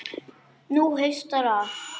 Nú haustar að.